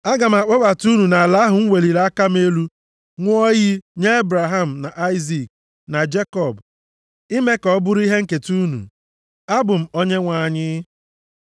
Aga m akpọbata unu nʼala ahụ m weliri aka m elu, ṅụọ nʼiyi, nye Ebraham, na Aịzik, na Jekọb, ime ka ọ bụrụ ihe nketa unu. Abụ m Onyenwe anyị.’ ”